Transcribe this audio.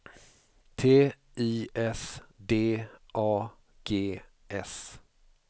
T I S D A G S